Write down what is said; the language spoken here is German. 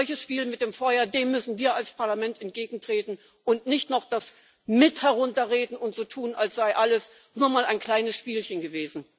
Einem solchen Spiel mit dem Feuer müssen wir als Parlament entgegentreten und nicht noch das mit herunterreden und so tun, als sei alles nur mal ein kleines Spielchen gewesen.